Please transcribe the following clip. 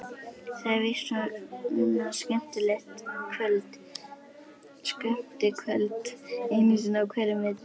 Það er víst svona skemmtikvöld einu sinni á hverjum vetri.